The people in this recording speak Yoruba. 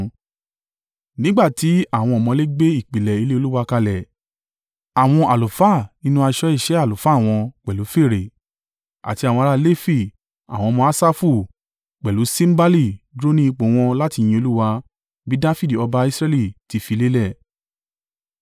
Nígbà tí àwọn ọ̀mọ̀lé gbé ìpìlẹ̀ ilé Olúwa kalẹ̀, àwọn àlùfáà nínú aṣọ iṣẹ́ àlùfáà wọn pẹ̀lú fèrè, àti àwọn ará Lefi (àwọn ọmọ Asafu) pẹ̀lú símbálì, dúró ní ipò wọn láti yin Olúwa, bí Dafidi ọba Israẹli ti fi lélẹ̀.